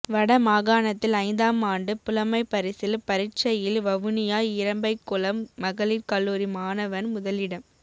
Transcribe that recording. வட மாகாணத்தில் ஐந்தாம் ஆண்டு புலமைபரிசில் பரீட்சையில் வவுனியா இறம்பைக்குளம் மகளீர் கல்லூரி மாணவன் முதலிடம்